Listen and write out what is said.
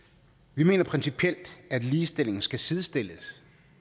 vi mener principielt at ligestilling skal sidestilles